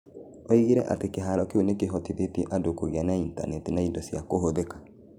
Oigire atĩ kĩhaaro kĩu nĩ kĩhotithĩtie andũ kũgĩa na intaneti na indo cia kũhũthĩka.